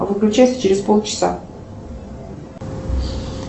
выключайся через пол часа